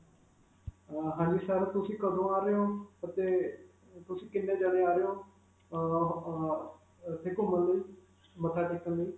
ਅਅ ਹਾਂਜੀ sir, ਤੁਸੀਂ ਕਦੋਂ ਆ ਰਹੇ ਹੋ ਅਤੇ ਅਅ ਤੁਸੀਂ ਕਿੰਨੇ ਜਾਣੇ ਆ ਰਹੇ ਹੋ? ਅਅ ਅਅ ਇਥੇ ਘੁਮਣ ਲਈ, ਮੱਥਾ ਟੇਕਣ ਲਈ?